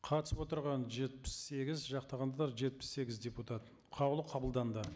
қатысып отырған жетпіс сегіз жақтағандар жетпіс сегіз депутат қаулы қабылданды